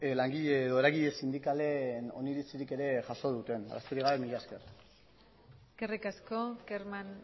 langile edo eragile sindikalen oneritzirik ere jaso duten besterik gabe mila esker eskerrik asko kerman